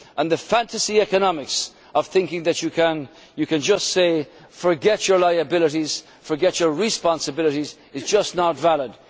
else. The fantasy economics of thinking that you can just say forget your liabilities', forget your responsibilities', is just not